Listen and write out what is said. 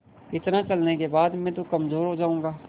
इतना चलने के बाद मैं तो कमज़ोर हो जाऊँगा